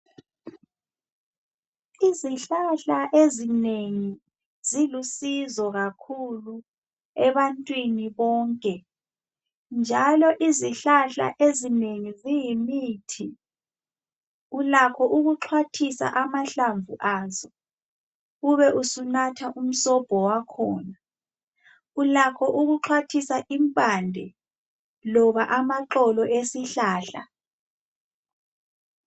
Izihlahla ezinengi zilusizo kakhulu ebantwini bonke njalo izihlahla ezinengi ziyimithi. Ulakho ukuxhwathisa amhamvu azo ube usunatha umsobho wakhona. Ulakho ukuxhwathisa impande loba amaxolo esihlahla